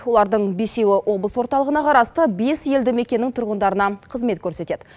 олардың бесеуі облыс орталығына қарасты бес елді мекеннің тұрғындарына қызмет көрсетеді